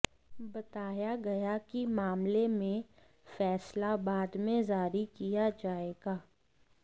बताया गया कि मामले में फैसला बाद में जारी किया जाएगा